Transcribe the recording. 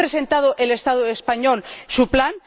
¿Ha presentado el Estado español su plan?